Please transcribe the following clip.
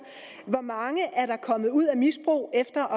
hvor mange er der kommet ud af misbrug efter